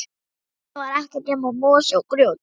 Heiðin var ekkert nema mosi og grjót.